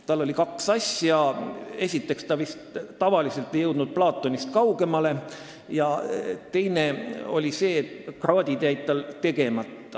Teda iseloomustasid kaks asja: esiteks ei jõudnud ta loengutel tavaliselt Platonist kaugemale ja teiseks olid tal kraadid jäänud tegemata.